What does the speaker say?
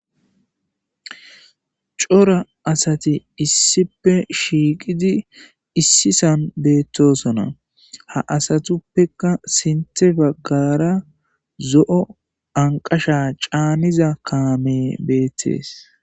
Cora asati issippe shiqidi issi son betosona ha asatuppeka sinthe bagara zo'o anqasha caniza kamey betes